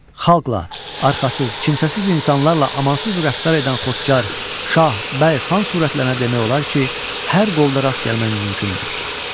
Xalqla, arxasız, kimsəsiz insanlarla amansız rəftar edən xotkar, şah, bəy, xan sürətlərinə demək olar ki, hər qolda rast gəlmək mümkündür.